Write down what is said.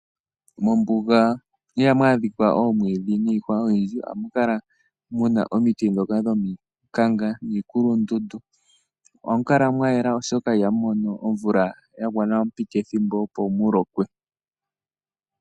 Mombuga ihamu adhika omwiidhi niikwawo oyindji, ohamu kala omiti ndhoka dhomikanga niikulundundu . Ohamu kala mwa yela, oshoka ihamu mono omvula yagwana opo mu lokwe.